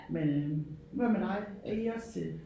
Men øh hvad med dig er I også til?